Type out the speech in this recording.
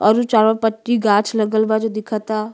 औरु चारों पट्टी गाच्छ लगल बा जो दिखता।